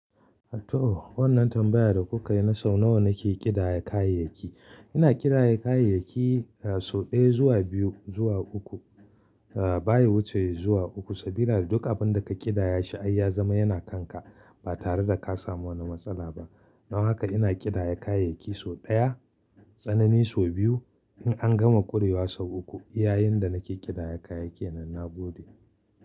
To, wannan tambayar da kuka yi na so nawa nake ƙidaya kayayyaki. Ina kiɗaya kayayyaki sau ɗaya zuwa biyu zuwa uku, baya wuce zuwa uku. Domin ai duk wani abunda ka kiɗaya shi ai yazama yana kanka batareda kasamu wata matsala ba. Dan haka ina ƙidaya kayayyaki sau ɗaya, tsanani sau biyu, in an gama ƙurewa sau uku. I yayin da nake ƙidaya kayayyaki kenan na gode.